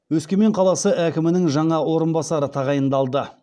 өскемен қаласы әкімінің жаңа орынбасары тағайындалды